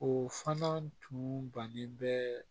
O fana tun bannen bɛ